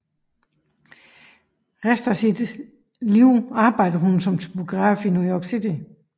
Resten af sit liv arbejdede hun som typograf i New York City